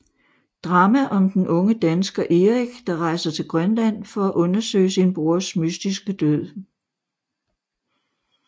Drama om den unge dansker Erik der rejser til Grønland for at undersøge sin brors mystiske død